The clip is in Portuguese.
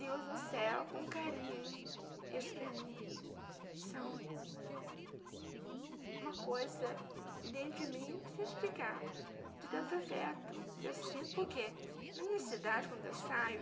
Deus no céu, com carinho, eles para mim são uma coisa que dentro de mim não sei explicar, de tanto afeto que eu sinto, porque na minha cidade, quando eu saio,